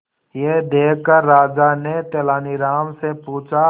यह देखकर राजा ने तेनालीराम से पूछा